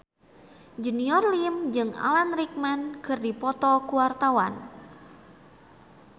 Junior Liem jeung Alan Rickman keur dipoto ku wartawan